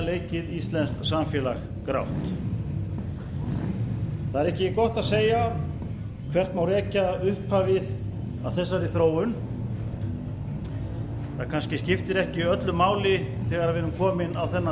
leikið íslenskt samfélag grátt það er ekki gott að segja hvert má rekja upphafið að þessari þróun það kannski skiptir ekki öllu máli þegar við erum komin á þennan